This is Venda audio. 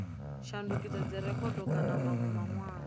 a shandukisa dzirekhodo kana manwe manwalo